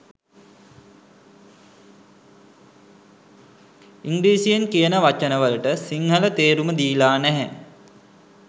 ඉංග්‍රීසියෙන් කියන වචන වලට සිංහල තේරුම දීලා නැහැ